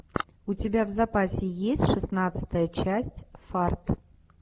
у тебя в запасе есть шестнадцатая часть фарт